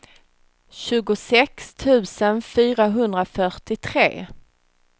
tjugosex tusen fyrahundrafyrtiotre